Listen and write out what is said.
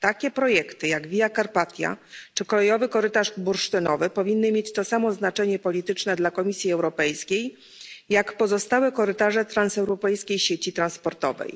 Takie projekty jak Via Carpatia czy Bursztynowy Korytarz Kolejowy powinny mieć to samo znaczenie polityczne dla Komisji Europejskiej jak pozostałe korytarze transeuropejskiej sieci transportowej.